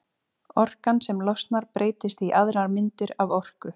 Orkan sem losnar breytist í aðrar myndir af orku.